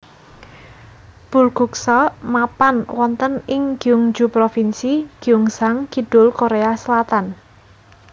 Bulguksa mapan wonten ing Gyeongju Provinsi Gyeongsang Kidul Korea Selatan